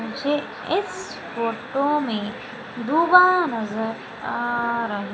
मुझे इस फोटो में डूबा नजर आ रहा--